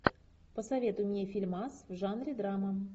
посоветуй мне фильмас в жанре драма